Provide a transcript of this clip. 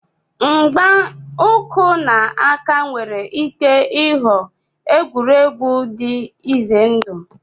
Mgba uku na aka nwere ike ịghọ egwuregwu dị ize ndụ.